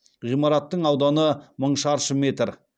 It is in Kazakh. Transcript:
ғимараттың ауданы мың шаршы метр